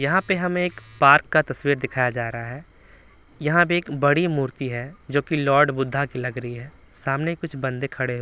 यहाँ पे हमें एक पार्क का तस्वीर दिखाया जा रहा है यहाँ भी एक बड़ी मूर्ति है जो कि लॉर्ड बुद्धा की लग रही है सामने कुछ बंदे खड़े--